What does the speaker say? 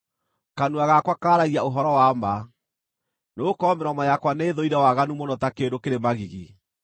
Kanua gakwa kaaragia ũhoro wa ma, nĩgũkorwo mĩromo yakwa nĩĩthũire waganu mũno ta kĩndũ kĩrĩ magigi.